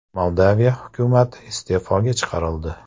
Moldaviya hukumati iste’foga chiqarildi.